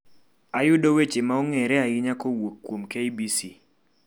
Ayudo weche ma ong'ere ahinya kowuok kuom kbc